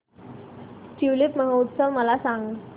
tulip महोत्सव मला सांग